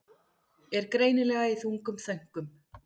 Er greinilega í þungum þönkum.